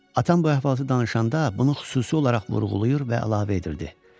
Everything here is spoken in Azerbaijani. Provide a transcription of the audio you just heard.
Atam bu əhvalatı danışanda bunu xüsusi olaraq vurğulayır və əlavə edirdi.